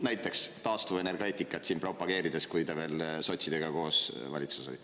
Näiteks taastuvenergeetikat siin propageerides, kui te veel sotsidega koos valitsuses olite.